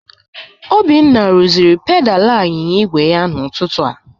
Obinna rụziri pedalị anyịnya igwe n'ụtụtụ a.